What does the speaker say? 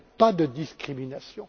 Pas de discrimination.